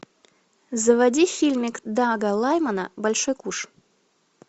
заводи фильмик дага лаймана большой куш